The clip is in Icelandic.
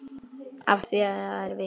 Að því eru vitni.